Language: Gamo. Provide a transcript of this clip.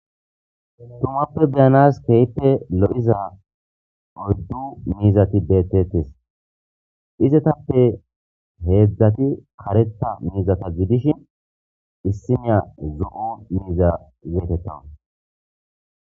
Tumape be7anas kehipe lo7iza oydu mizati betes izatape hezati karetha mizata gidishin issinya zo7o miza getetawus